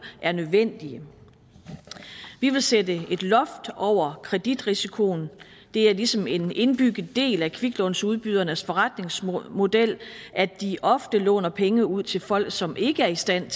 er nødvendige vi vil sætte et loft over kreditrisikoen det er ligesom en indbygget del af kviklånsudbydernes forretningsmodel at de ofte låner penge ud til folk som ikke er i stand